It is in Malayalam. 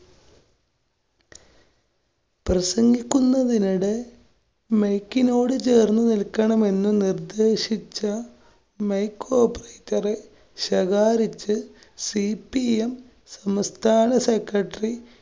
പ്രസംഗിക്കുന്നതിനിടെ mike നോട് ചേര്‍ന്നു നില്‍ക്കണമെന്ന് നിര്‍ദ്ദേശിച്ച mike operator റെ ശകാരിച്ച് CPM സംസ്ഥാന secretary